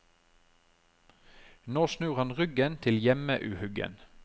Nå snur han ryggen til hjemmeuhyggen.